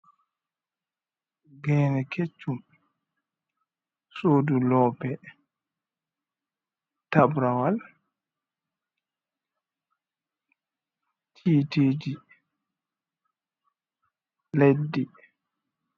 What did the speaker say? Gene keccum sudu lope tabrawal yiteji leddi.